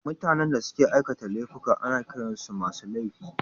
Mutanen da suka aikata laifuka ana kiran su masu laifi